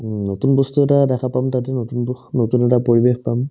উম্, নতুন বস্তু এটা দেখা পাম তাতে নতুন নতুন এটা পৰিৱেশ পাম